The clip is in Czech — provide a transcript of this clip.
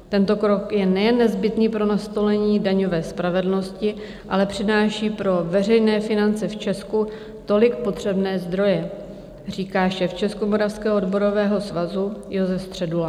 Tento krok je nejen nezbytný pro nastolení daňové spravedlnosti, ale přináší pro veřejné finance v Česku tolik potřebné zdroje," říká šéf Českomoravského odborového svazu Josef Středula.